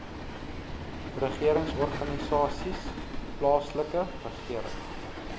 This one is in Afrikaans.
regeringsorganisasies plaaslike regering